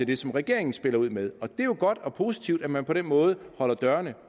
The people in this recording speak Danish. det som regeringen spiller ud med og det er jo godt og positivt at man på den måde holder dørene